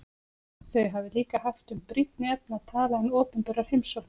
Þau hafi líka haft um brýnni efni að tala en opinberar heimsóknir.